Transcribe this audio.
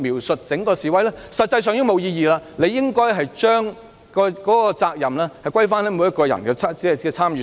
實際上，這已是沒有意義，當局應該把責任歸於每個人的參與上。